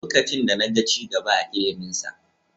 Lokacin da na ga ci gaba a iliminsa.